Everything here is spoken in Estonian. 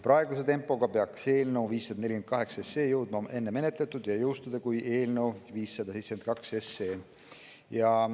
Praeguse tempoga peaks eelnõu 548 jõudma enne menetletud ja saaks jõustuda varem kui eelnõu 572.